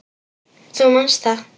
Þú manst það.